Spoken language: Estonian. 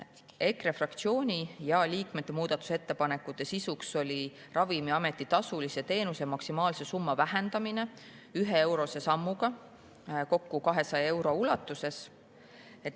EKRE fraktsiooni ja selle liikmete muudatusettepanekute sisuks oli Ravimiameti tasulise teenuse maksimaalse summa vähendamine 1-eurose sammuga kokku 200 euro ulatuses.